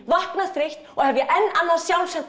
vakna þreytt og hefja enn annað